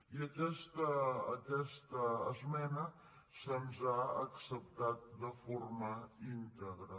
i aquesta esmena se’ns ha acceptat de forma íntegra